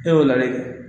E y'o ladi